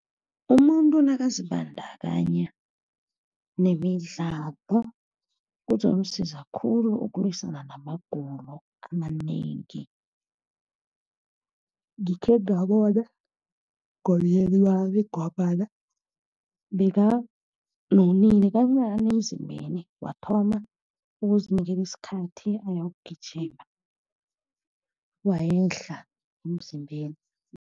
Umuntu nakazibandakanya nemidlalo kuzomsiza khulu ukulwisana namagulo amanengi. Ngikhe ngabona ngombana bekanonile kancani emzimbeni, wathoma ukuzinikela isikhathi ayokugijima, wehla emzimbeni.